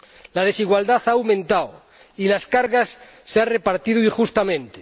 La desigualdad ha aumentado y las cargas se han repartido injustamente.